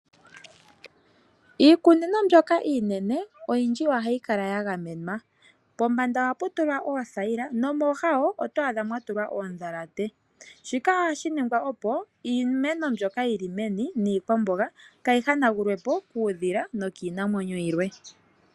Iikunino mbyoka yiimeno, oyindji ohayi kala yagamenwa. Pombanda ohapu tulwa oothayila noomooha ohamu tulwa oondhalate. Shika ohashi ningwa opo iimeno mbyoka yili meni niikwamboga kaayi hanagulwepo kuudhila nokiinamwenyo yilwe.